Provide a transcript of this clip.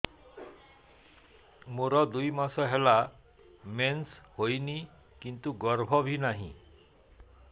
ମୋର ଦୁଇ ମାସ ହେଲା ମେନ୍ସ ହେଇନି କିନ୍ତୁ ଗର୍ଭ ବି ନାହିଁ